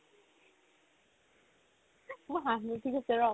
মোৰ হাঁহি উঠি গৈছে ৰ'